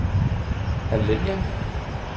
Alanya